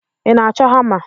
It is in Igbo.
Ị na-achọ hama?